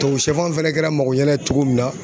Tubabusɛfan fana kɛra magoɲɛna ye cogo min na